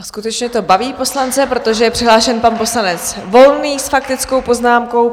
A skutečně to baví poslance, protože je přihlášen pan poslanec Volný s faktickou poznámkou.